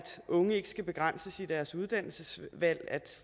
unge ikke skal begrænses i deres uddannelsesvalg at